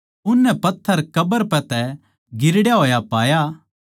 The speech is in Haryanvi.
उननै पत्थर कब्र पै तै गिरड़या होया पाया